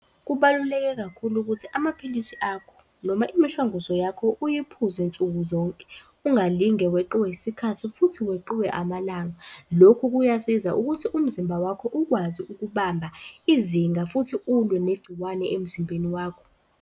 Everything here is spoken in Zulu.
Kubaluleke kakhulu ukuthi amaphilisi akho, noma imishwanguzo yakho uyiphuze nsuku zonke, ungalinge weqiwe isikhathi futhi weqiwe amalanga. Lokhu kuyasiza ukuthi umzimba wakho ukwazi ukubamba izinga futhi ulwe negciwane emzimbeni wakho.